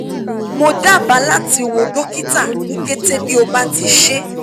mo daba lati wo dokita ni kete bi o ti ṣee